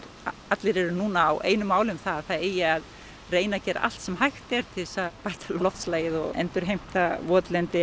allir eru núna á einu máli um það að það eigi að gera allt sem hægt er til að bæta loftslagið og endurheimta votlendi